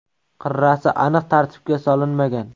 Qirrasi aniq tartibga solinmagan.